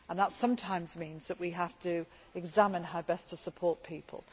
That sometimes means that we have to examine how best to support people.